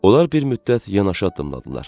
Onlar bir müddət yanaşı addımladılar.